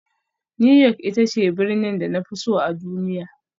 New York ita ce birnin da na fi so a duniya